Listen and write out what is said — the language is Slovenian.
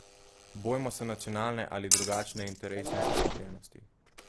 Bojmo se nacionalne ali drugačne interesne zaslepljenosti.